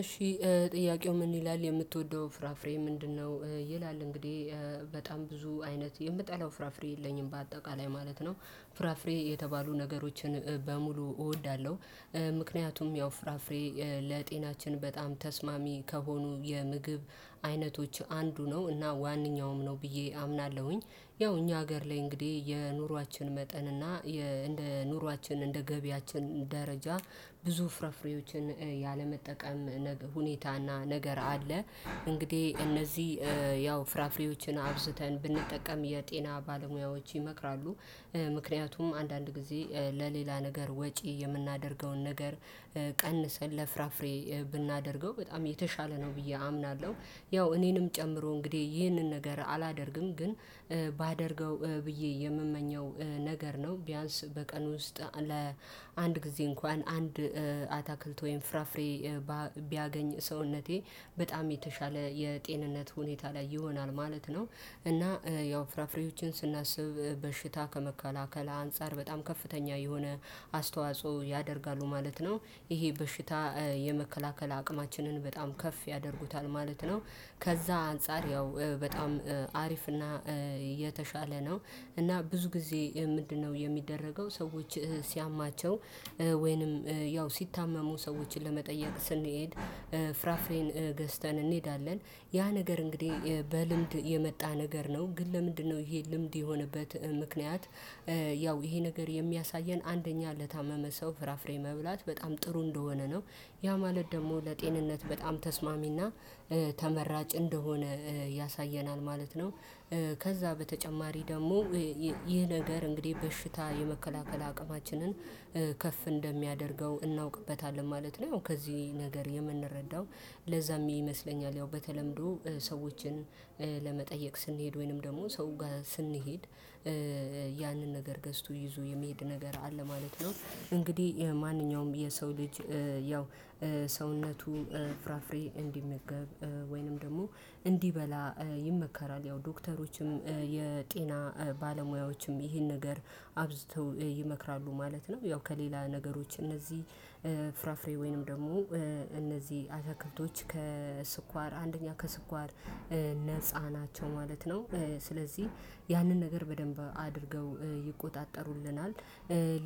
እሺ ጥያቄው ምን ይላል? የምትወደው ፍራፍሬ ምንድነው? ይላል እንግዲህ በጣም ብዙ አይነት የምጠላው ፍራፍሬ የለኝም በአጠቃላይ ማለት ነው። ፍራፍሬ የተባሉ ነገሮችን በሙሉ እወዳለሁ። ምክንያቱም ያው ፍራፍሬ ለጤናችን በጣም ተስማሚ ከሆኑ የምግብ አይነቶች አንዱ ነው እና ዋነኛውም ነው ብዬ አምናለሁኝ። ያው እኛ ሀገር ላይ እንግዲህ የኑሯችን መጠን እና የ እንደ ኑሯችን እንደ ገቢያችን ደረጃ ብዙ ፍርፍሬዎችን ያለመጠቀም ነገ ሁኔታና ነገር አለ። እንግዲህ እነዚህ ያው ፍራፍሬዎችን አብዝተን ብንጠቀም የጤና ባለሙያዎች ይመክራሉ። ምክንያቱም አንዳንድ ጊዜ ለሌላ ነገር ወጪ የምናደርገውን ነገር ቀንሰን ለፍራፍሬ ብናደርገው በጣም የተሻለ ነው ብዬ አምናለሁ። ያው እኔንም ጨምሮ እንግዲህ ይህንን ነገር አላደርግም። ግን ባደርገው ብዬ የምመኘው ነገር ነው። ቢያንስ በቀን ውስጥ ለአንድ ጊዜ እንኳን አንድ አታክልት ወይም ፍራፍሬ ቢያገኝ ሰውነቴ በጣም የተሻለ የጤንነት ሁኔታ ላይ ይሆናል ማለት ነው እና ያው ፍራፍሬዎችን ስናስብ በሽታ ከመከላከል አንፃር በጣም ከፍተኛ የሆነ አስተዋጽኦ ያደርጋሉ ማለት ነው። ይሄ በሽታ የመከላከል አቅማችንን በጣም ከፍ ያደርጉታል ማለት ነው። ከዛ አንፃር ያው በጣም አሪፍ እና የተሻለ ነው። እና ብዙ ጊዜ ምንድነው የሚደረገው ሰዎች ሲያማቸው ወይንም ያው ሲታመሙ ሰዎችን ለመጠየቅ ስንሄድ ፍራፍሬን ገዝተን እንሄዳለን። ያ ነገር እንግዲህ በልምድ የመጣ ነገር ነው። ግን ለምንድነው ይሄ ልምድ የሆነበት ምክንያት ያው ይሄ ነገር የሚያሳየን አንደኛ ለታመመ ሰው ፍራፍሬ መብላት በጣም ጥሩ እንደሆነ ነው። ያ ማለት ደግሞ ለጤንነት በጣም ተስማሚና ተመራጭ እንደሆነ ያሳየናል ማለት ነው። ከዛ በተጨማሪ ደግሞ ይህ ነገር እንግዲህ በሽታ የመከላከል አቅማችንን ከፍ እንደሚያደርገው እናውቅበታለን ማለት ነው ከዚህ ነገር የምንረዳው። ለዛም ይመስለኛል ያው በተለምዶ ሰዎችን ለመጠየቅ ስንሄድ ወይንም ደግሞ ሰው ጋር ስንሄድ ያንን ነገር ገዝቶ ይዞ የሚሄድ ነገር አለ ማለት ነው። እንግዲህ ማንኛውም የሰው ልጅ ያው ሰውነቱ ፍራፍሬ እንዲመገብ ወይንም ደግሞ እንዲበላ ይመከራል። ያው ዶክተሮችም የጤና ባለሙያዎችም ይሄን ነገር አብዝተው ይመክራሉ ማለት ነው። ያው ከሌላ ነገሮች እነዚህ ፍራፍሬ ወይንም ደግሞ እነዚህ አታክልቶች ከስኳር አንደኛ ከስኳር ነፃ ናቸው ማለት ነው። ስለዚህ ያንን ነገር በደንብ አድርገው ይቆጣጠሩልናል።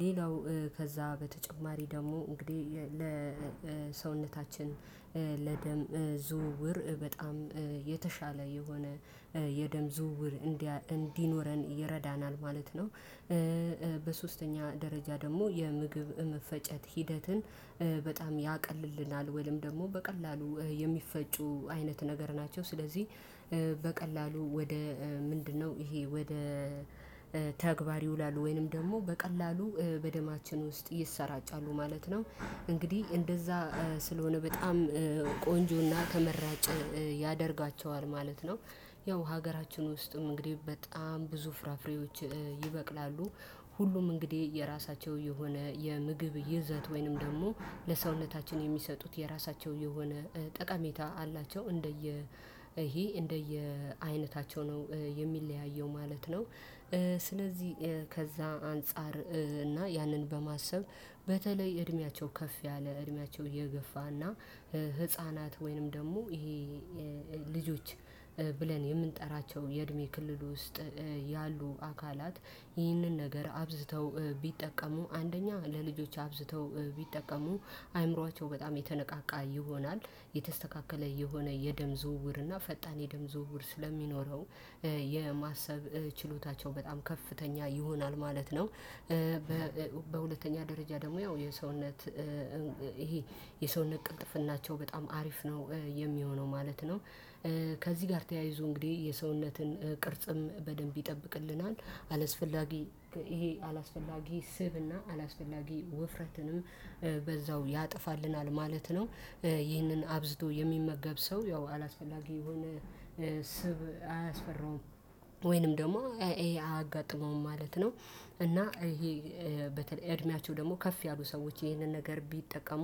ሌላው ከዛ በተጨማሪ ደግሞ እንግዲህ ለሰውነታችን ለደም ዝውውር በጣም የተሻለ የሆነ የደም ዝውውር እንዲያ እንዲኖረን ይረዳናል ማለት ነው። በሶስተኛ ደረጃ ደግሞ የምግብ መፈጨት ሂደትን በጣም ያቀልልናል ወይም ደግሞ በቀላሉ የሚፈጩ አይነት ነገር ናቸው። ስለዚህ በቀላሉ ወደ ምንድነው ይሄ ወደ ተግባር ይውላሉ ወይንም ደግሞ በቀላሉ በደማችን ውስጥ ይሰራጫሉ ማለት ነው። እንግዲህ እንደዛ ስለሆነ በጣም ቆንጆና ተመራጭ ያደርጋቸዋል ማለት ነው። ያው ሀገራችን ውስጥም እንግዲህ በጣም ብዙ ፍራፍሬዎች ይበቅላሉ። ሁሉም እንግዲህ የራሳቸው የሆነ የምግብ ይዘት ወይንም ደግሞ ለሰውነታችን የሚሰጡት የራሳቸው የሆነ ጠቀሜታ አላቸው። እንደየ ይሄ እንደየ አይነታቸው ነው የሚለያየው ማለት ነው። ስለዚህ ከዛ አንፃር እና ያንን በማሰብ በተለይ እድሜያቸው ከፍ ያለ እድሜያቸው የገፋና ህፃናት ወይንም ደግሞ ይሄ ልጆች ብለን የምንጠራቸው የእድሜ ክልል ውስጥ ያሉ አካላት ይህንን ነገር አብዝተው ቢጠቀሙ አንደኛ ለልጆች አብዝተው ቢጠቀሙ አእምሮአቸው በጣም የተነቃቃ ይሆናል። የተስተካከለ የሆነ የደም ዝውውር እና ፈጣን የደም ዝውውር ስለሚኖረው የማሰብ ችሎታቸው በጣም ከፍተኛ ይሆናል ማለት ነው። በሁለተኛ ደረጃ ደግሞ ያው የሰውነት ይሄ የሰውነት ቅልጥፍናቸው በጣም አሪፍ ነው የሚሆነው ማለት ነው። ከዚህ ጋር ተያይዞ እንግዲህ የሰውነትን ቅርጽም በደንብ ይጠብቅልናል አላስፈላጊ ይሄ አላስፈላጊ ስብና አላስፈላጊ ውፍረትንም በዛው ያጠፋልናል ማለት ነው። ይህንን አብዝቶ የሚመገብ ሰው ያው አላስፈላጊ የሆነ ስብ አያስፈራውም ወይንም ደግሞ ይሄ አያጋጥመውም ማለት ነው። እና ይሄ በተለይ እድሜያቸው ደግሞ ከፍ ያሉ ሰዎች ይሄንን ነገር ቢጠቀሙ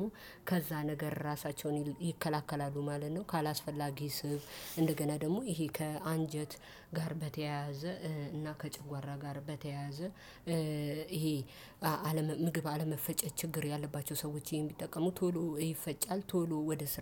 ከዛ ነገር ራሳቸውን ይከላከላሉ ማለት ነው። ካላስፈላጊ ስብ፣ እንደገና ደግሞ ይሄ ከአንጀት ጋር በተያያዘ እና ከጨጓራ ጋር በተያያዘ ይሄ አለመ ምግብ አለመፈጨት ችግር ያለባቸው ሰዎች ይሄን ቢጠቀሙ ቶሎ ይፈጫል ቶሎ ወደ ስራ